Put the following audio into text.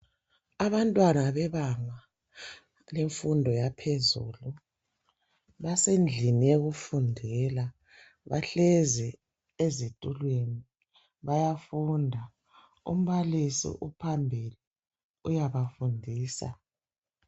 Abantwana bebanga lemfundo yaphezulu basendlini yokufundela bahlezi ezitulweni bayafunda umbalisi uphambili uyabafundisa.